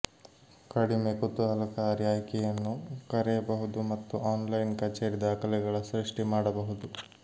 ಕಡಿಮೆ ಕುತೂಹಲಕಾರಿ ಆಯ್ಕೆಯನ್ನು ಕರೆಯಬಹುದು ಮತ್ತು ಆನ್ಲೈನ್ ಕಚೇರಿ ದಾಖಲೆಗಳ ಸೃಷ್ಟಿ ಮಾಡಬಹುದು